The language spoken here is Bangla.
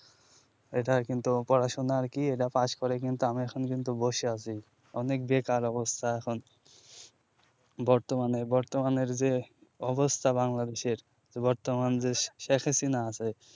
এটা কিন্তু পড়াশুনা আরকি এরা পাস করে কিন্তু আমিও এখন কিন্তু বসে আছি অনেক বেকার অবস্থা এখন বর্তমানে বর্তমানের যে অবস্থা bangadesh এর বর্তমান যে sheikh hasina আছে